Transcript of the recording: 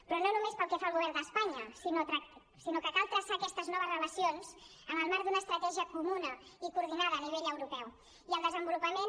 però no només pel que fa al govern d’espanya sinó que cal traçar aquestes noves relacions en el marc d’una estratègia comuna i coordinada a nivell europeu i el desenvolupament